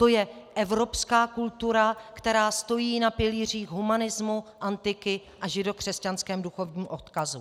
To je evropská kultura, která stojí na pilířích humanismu, antiky a židokřesťanském duchovním odkazu.